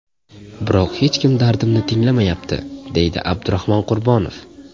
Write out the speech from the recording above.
Biroq hech kim dardimni tinglamayapti”, deydi Abdurahmon Qurbonov.